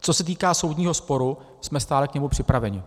Co se týká soudního sporu, jsme stále k němu připraveni.